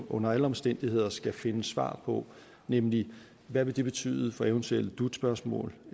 under alle omstændigheder skal finde svar på nemlig hvad vil det betyde for eventuelle dut spørgsmål